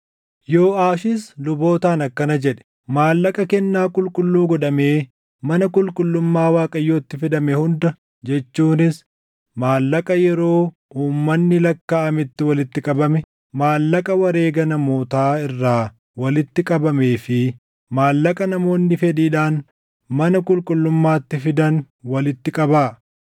Yooʼaashis lubootaan akkana jedhe; “Maallaqa kennaa qulqulluu godhamee mana qulqullummaa Waaqayyootti fidame hunda jechuunis maallaqa yeroo uummanni lakkaaʼametti walitti qabame, maallaqa wareega namootaa irraa walitti qabamee fi maallaqa namoonni fedhiidhaan mana qulqullummaatti fidan walitti qabaa.